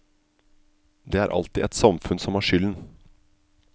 Det er alltid et samfunn som har skylden.